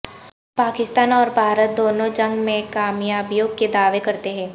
پاکستان اور بھارت دونوں جنگ میں کامیابیوں کے دعوے کرتے ہیں